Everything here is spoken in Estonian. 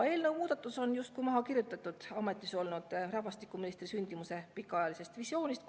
Eelnõu on justkui maha kirjutatud ametis olnud rahvastikuministri sündimuse pikaajalisest visioonist.